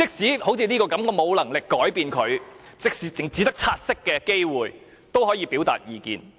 好像這項《公告》，即使我沒有能力作出修訂，只有察悉的機會，都可以表達意見。